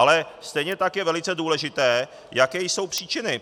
Ale stejně tak je velice důležité, jaké jsou příčiny.